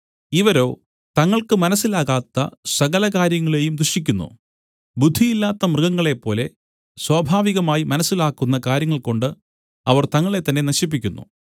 ഇവരോ തങ്ങൾക്ക് മനസ്സിലാകാത്ത സകല കാര്യങ്ങളെയും ദുഷിക്കുന്നു ബുദ്ധിയില്ലാത്ത മൃഗങ്ങളേപ്പോലെ സ്വാഭാവികമായി മനസ്സിലാക്കുന്ന കാര്യങ്ങൾകൊണ്ട് അവർ തങ്ങളെത്തന്നെ നശിപ്പിക്കുന്നു